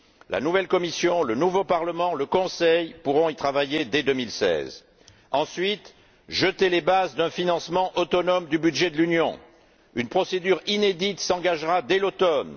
La nouvelle Commission, le nouveau Parlement, le Conseil pourront y travailler dès 2016. Ensuite, jeter les bases d'un financement autonome du budget de l'Union. Une procédure inédite s'engagera dès l'automne.